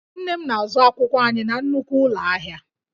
Nne m na-azụ akwụkwọ anyị na nnukwu ụlọ ahịa